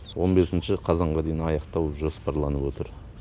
он бесінші қазанға дейін аяқтау жоспарланып отыр